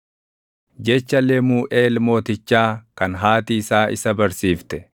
Jecha Lemuuʼeel mootichaa kan haati isaa isa barsiifte: